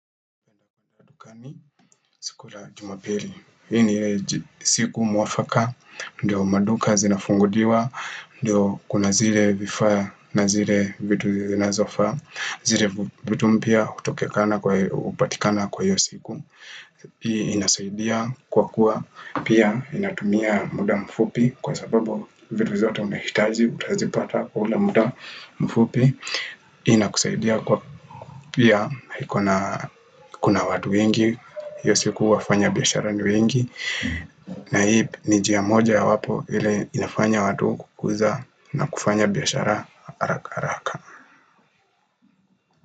Siku la jumapili, hii ni ile siku mwafaka, ndio maduka zinafunguliwa, ndio kuna zile vifaa na zile vitu zinazofa, zile vitu mpya utokekana kwa upatikana kwa hiyo siku. Hii inazaidia kwa kuwa pia inatumia muda mfupi kwa sababu vitu zote unahitaji utazipata kula muda mfupi Hii inakuzaidia kwa pia kuna watu wengi hiyo siku wafanya bihashara ni wengi na hii ni jia moja ya wapo ile inafanya watu kukuza na kufanya bihashara haraka haraka.